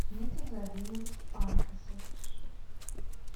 дмитрий владимирович пантюшев